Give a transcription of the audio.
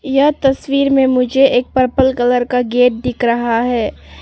यह तस्वीर में मुझे एक पर्पल कलर का गेट दिख रहा है।